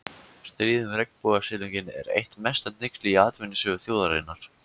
Stríðið um regnbogasilunginn er eitt mesta hneyksli í atvinnusögu þjóðarinnar.